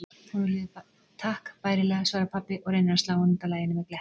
Honum líður takk bærilega, svarar pabbi og reynir að slá hana útaf laginu með glettni.